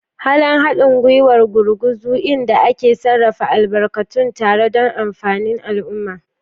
Halin haɗin gwiwar gurguzu, inda ake sarrafa albarkatun tare don amfanin al'umma.